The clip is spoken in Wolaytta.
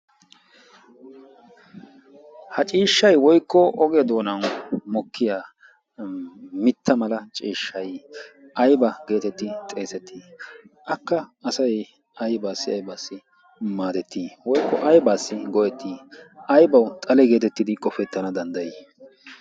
ha ciishshay woykko ogee doonan mokkiya mitta mala ciishshay ayba geetettii xeesettii akka asai aibaassi aibaassi maadettii woykko aybaassi goyettii aybawu xale geetettidi qofettana danddayii?